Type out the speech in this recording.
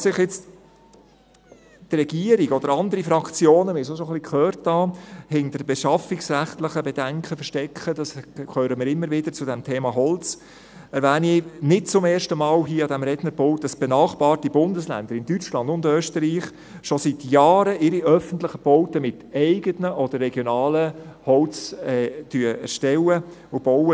Falls sich jetzt die Regierung oder andere Fraktionen – man hat es schon ein wenig gehört – hinter beschaffungsrechtlichen Bedenken verstecken – das hören wir immer wieder zum Thema Holz –, erwähne ich nicht zum ersten Mal hier an diesem Rednerpult, dass benachbarte Bundesländer in Deutschland und Österreich schon seit Jahren ihre öffentlichen Bauten mit eigenem oder regionalem Holz erstellen und bauen.